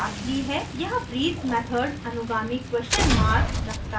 यहाँ breathe method अनुगामी question mark question mark रखता है